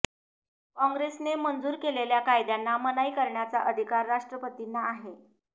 कॉंग्रेसने मंजूर केलेल्या कायद्यांना मनाई करण्याचा अधिकार राष्ट्रपतींना आहे